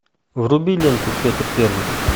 вруби ленту петр первый